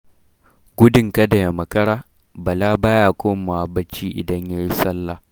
Gudun kada ya makara, Bala baya komawa bacci idan ya yi salla.